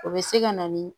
O bɛ se ka na ni